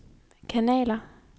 kanaler